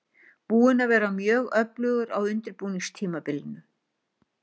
Búinn að vera mjög öflugur á undirbúningstímabilinu.